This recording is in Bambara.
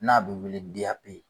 N'a bɛ weele DAP.